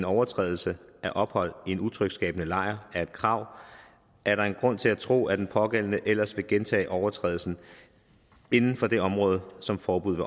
overtrædelse af ophold i en utryghedsskabende lejr er et krav er der en grund til at tro at den pågældende ellers vil gentage overtrædelsen inden for det område som forbuddet